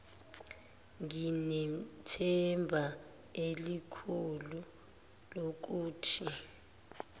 nginethemba elikhulu lokuthi